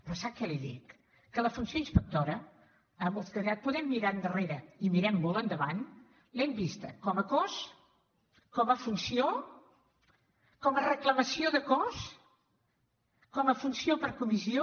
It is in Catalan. però sap què li dic que la funció inspectora els que podem mirar enrere i mirem molt endavant l’hem vista com a cos com a funció com a reclamació de cos com a funció per comissió